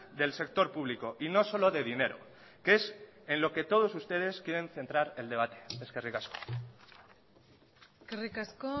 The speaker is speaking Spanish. del sector público y no solo de dinero que es en lo que todos ustedes quieren centrar el debate eskerrik asko eskerrik asko